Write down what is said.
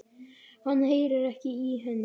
Hann heyrir ekki í henni.